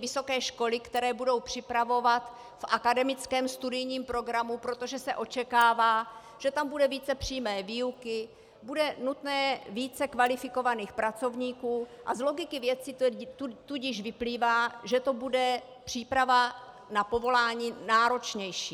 vysoké školy, které budou připravovat v akademickém studijním programu, protože se očekává, že tam bude více přímé výuky, bude nutné více kvalifikovaných pracovníků, a z logiky věci tudíž vyplývá, že to bude příprava na povolání náročnější.